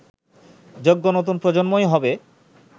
যোগ্য নতুন প্রজন্মই হবে